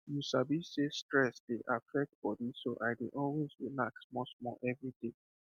you sabi sey stress dey affect body so i dey always relax smallsmall every day